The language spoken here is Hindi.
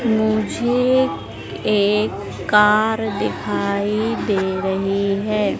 मुझे एक कार दिखाई दे रही है।